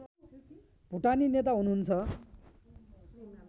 भुटानी नेता हुनुहुन्छ